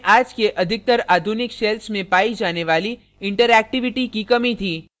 * इसमें आज के अधिकतर आधुनिक shells में पायी जाने वाली interactivity की कमी थी